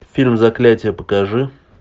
фильм заклятие покажи